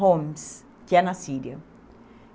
Homs, que é na Síria.